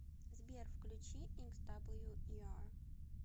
сбер включи иксдаблюиар